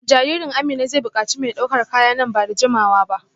Jaririn Amina zai bukaci mai daukar kaya nan ba da jimawa ba